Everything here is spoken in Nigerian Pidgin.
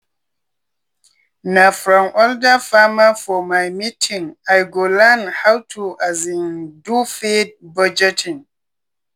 na from older farmerfor my meeting i go learn how to um do feed budgeting.